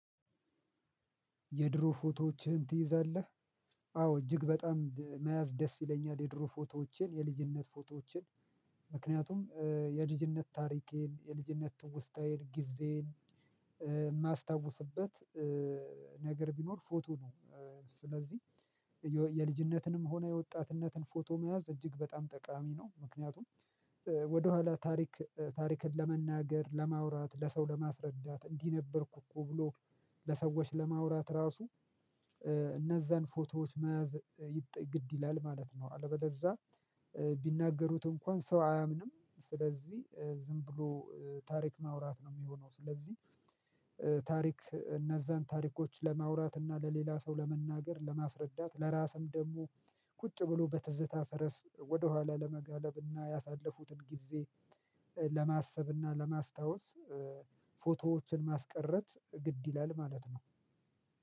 የድሮ ፎቶዎችህን ትይዛለህ? አዎ እጅግ በጣም መያዝ ደስ ይለኛል የድሮ ፎቶዎቼን የልጅነት ፎቶዎቼን። ምክንያቱም የልጅነት ታሪኬን የልጅነት ትውስታዬን ጊዜዬን የማስታውስበት ነገር ቢኖር ፎቶ ነው፤ ስለዚህ የልጅነትንም ሆነ የወጣትነትን ፎቶ መያዝ እጅግ በጣም ጠቃሚ ነው። ምክንያቱም ወደኋላ ታሪክ ታሪክን ለመናገር ለማውራት ለሰው ለማስረዳት እንዲህ ነበርኩ እኮ ብሎ ለሰዎች ለማውራት ራሱ፣ እነዛን ፎቶዎች መያዝ ግድ ይላል ማለት ነው። አለበለዛ ቢናገሩት እንኳን ሰው አያምንም ስለዚህ ዝም ብሎ ታሪክ ማውራት ነው የሚሆነው፤ ስለዚህ ታሪክ እነዛን ታሪኮች ለማውራት እና ለሌላ ሰው ለመናገር ለማስረዳት ለራስም ደግሞ ቁጭ ብሎ በትዝታ ፈረስ ወደኋላ ለመጋለብ እና ያሳለፉትን ጊዜ ለማሰብ እና ለማስታወስ ፎቶዎችን ማስቀረት ግድ ይላል ማለት ነው።